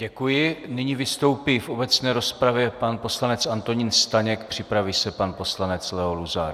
Děkuji, nyní vystoupí v obecné rozpravě pan poslanec Antonín Staněk, připraví se pan poslanec Leo Luzar.